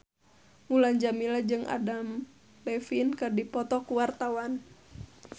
Mulan Jameela jeung Adam Levine keur dipoto ku wartawan